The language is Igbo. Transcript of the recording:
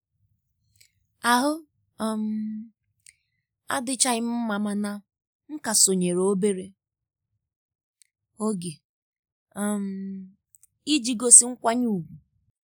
Ahụ um adịchaghị m mma mana m ka sonyeere obere oge um iji gosi nkwanye ùgwù